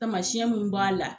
Tamasiyɛn mun b'a la.